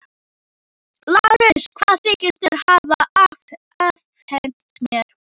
LÁRUS: Hvað þykist þér hafa afhent mér?